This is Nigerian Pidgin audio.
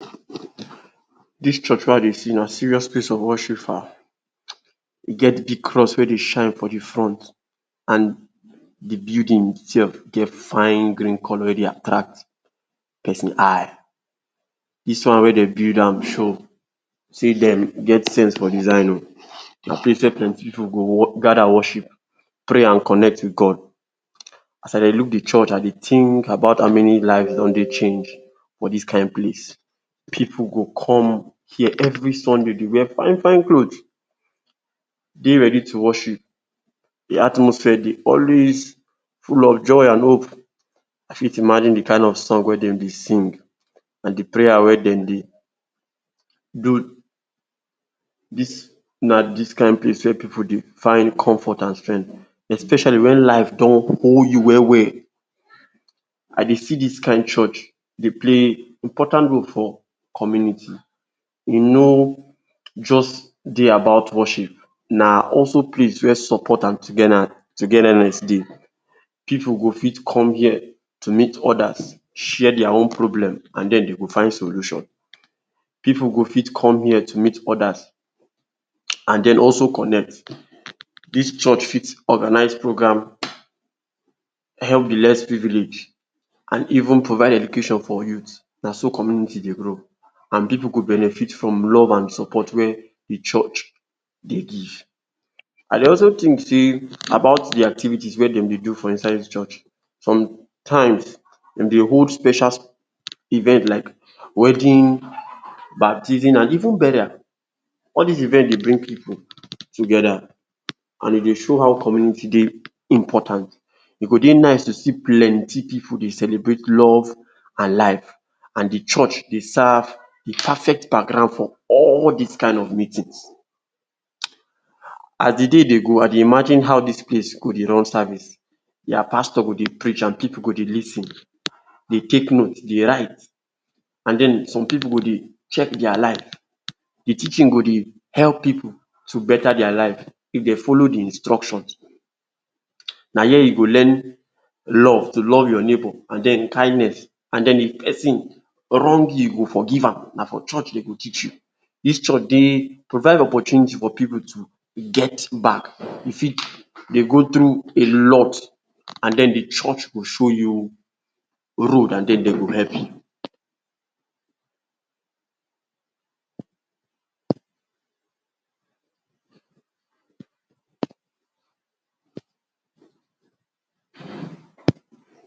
Dis church wey I dey see na serious place of worship fa. E get big cross wey dey shine for de front and de building itself get fine green colour wey dey attract person eye. Dis one wey dey build am show sey dem get sense for design oo. Na place wey plenty pipu go gather worship, pray and connect wit God. As I dey look de church I dey think about how many life don dey change for dis kain place. Pipu go come here every Sunday dey wear fine fine cloth, dey ready to worship. De atmosphere dey always full of joy and hope. I fit imagine de kind of song wey dem be sing and de prayer wey dem dey do. Dis na dis kain place wey pipu dey find comfort and strength especially when life don hold you well well. I dey see dis kain church dey play important role for community. E no just dey about worship na also place wey support and togetherness dey. Pipu go fit come here to meet others share their own problem and den dey go find solution. Pipu go fit come here to meet others and den also connect. Dis church fit organize program, help de less privileged and even provide education for youth. Na so community dey grow and pipu go benefit from love and support wey de church dey give. I dey also think sey about de activities wey dem dey do for inside dis church. Sometimes in de whole special event like wedding, baptism and even burial. All dis event dey bring pipu together and e dey show how community dey important. E go dey nice to see plenty pipu dey celebrate love and life and de church dey serve de perfect background for all dis kind of meetings. As de day dey go, I dey imagine how dis place go dey run service. Their pastor go dey preach and pipu go dey lis ten, dey take note, dey write and den some pipu go dey check their life; de teaching go dey help pipu to better their life if dey follow de instructions. Na here you go learn love to love your neighbor, and den kindness and den if person wrong you, you go forgive am. Na for church dem go teach you. Dis church dey provide opportunity for pipu to get back, you fit dey go through a lot and den de church go show you road and den dey go help you.